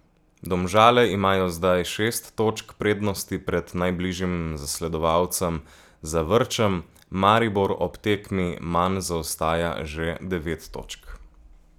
Domžale imajo zdaj šest točk prednosti pred najbližjim zasledovalcem Zavrčem, Maribor ob tekmi manj zaostaja že devet točk.